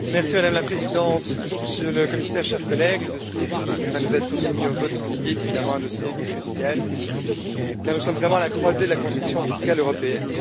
Madame la Présidente, Monsieur le Commissaire, chers collègues, le dossier qui va nous être soumis au vote ce midi est un dossier crucial, car nous sommes vraiment à la croisée de la construction fiscale européenne.